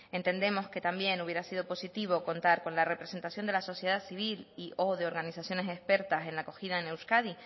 entendemos que también hubiera sido positivo contar con la representación de la sociedad civil y o de organizaciones expertas en la acogida en euskadi